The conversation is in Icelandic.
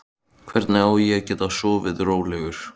Hvernig á ég að geta sofið rólegur?